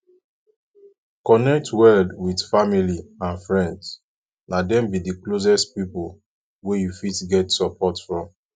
connect well with family and friends na dem be d closest pipo wey you fit get support from